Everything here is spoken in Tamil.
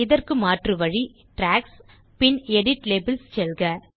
இதற்கு மாற்று வழி ட்ராக்ஸ் gtgtபின் எடிட் லேபல்ஸ் செல்க